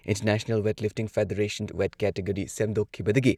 international weight lifting federation weight category ꯁꯦꯝꯗꯣꯛꯈꯤꯕꯗꯒꯤ